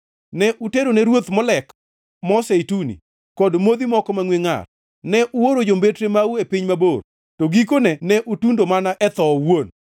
Ne uterone ruoth Molek mo zeituni kod modhi moko mangʼwe ngʼar. Ne uoro jombetre mau e piny mabor; to gikone ne utundo mana e tho owuon!